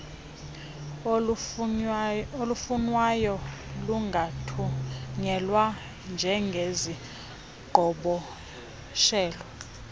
olufunwayo lungathunyelwa njengeziqhoboshelo